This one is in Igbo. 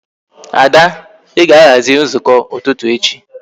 Ada I ga-aghazi nzukọ ụtụtụ echi